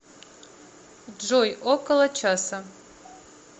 джой около часа